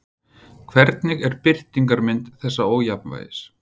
Hvernig er birtingarmynd þessa ójafnvægis?